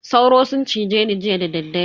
Sauro sun cize ni jiya dadaddare.